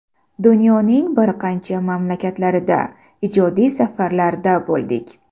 Dunyoning bir qancha mamlakatlarida ijodiy safarlarda bo‘ldik.